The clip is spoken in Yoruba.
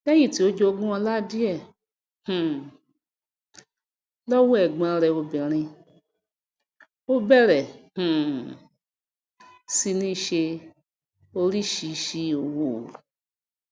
léyìn tí ó jogún ọlá díè um lówó ègbón rè obìrin ó bèrè um sí ní se orísìsísì òwò